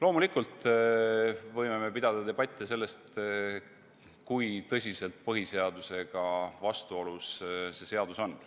Loomulikult me võime pidada debatti, kui tõsiselt põhiseadusega vastuolus see seaduseelnõu on.